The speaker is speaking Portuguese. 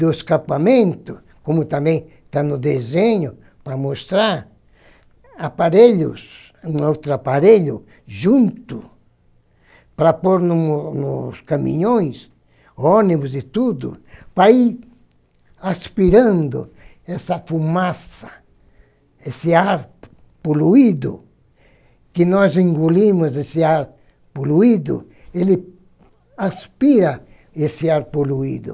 do escapamento, como também está no desenho, para mostrar, aparelhos, um outro aparelho junto, para pôr no nos caminhões, ônibus e tudo, para ir aspirando essa fumaça, esse ar poluído, que nós engolimos esse ar poluído, ele aspira esse ar poluído.